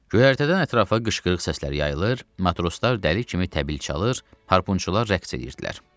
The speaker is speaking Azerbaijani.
Göyərtədən ətrafa qışqırıq səsləri yayılır, matroslar dəli kimi təbil çalır, harpunçular rəqs edirdilər.